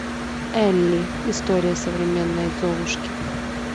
элли история современной золушки